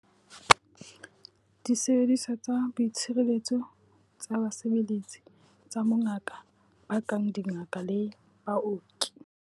Disebediswa tsa boitshireletso tsa basebeletsi tsa bongaka ba kang dingaka le baoki.